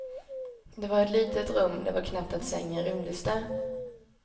Det var ett litet rum, det var knappt att sängen rymdes där.